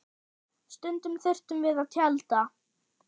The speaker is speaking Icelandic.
Stundum þurftum við að tjalda.